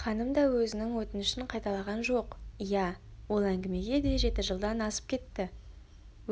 ханым да өзінің өтінішін қайталаған жоқ иә ол әңгімеге де жеті жылдан асып кетті